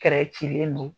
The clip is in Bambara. cilen don